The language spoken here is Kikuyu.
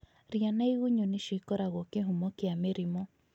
Ria na igunyũ nĩcio ikoragwo kĩhumo kĩa mĩrimũ